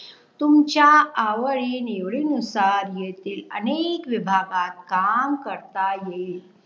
तुमच्या आवडी निवडी नुसार येथील अनेक विभागात काम करता येईल